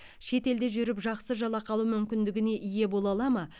шет елде жүріп жақсы жалақы алу мүмкіндігіне ие бола ала ма